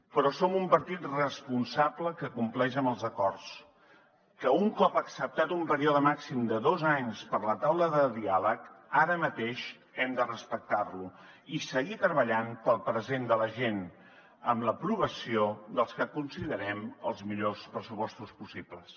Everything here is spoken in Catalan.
però som un partit responsable que compleix amb els acords que un cop acceptat un període màxim de dos anys per a la taula de diàleg ara mateix hem de respectar lo i seguir treballant pel present de la gent amb l’aprovació dels que considerem els millors pressupostos possibles